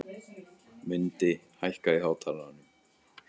Mundi, hækkaðu í hátalaranum.